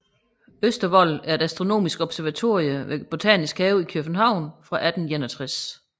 Østervold er et astronomisk observatorium ved Botanisk Have i København fra 1861